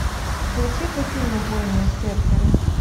включи ка фильм убойные серферы